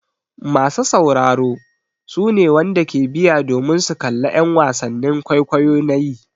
Masa sauraro su ne wanda ke biya domin su kalla en wasannin kwaikwayo na yi.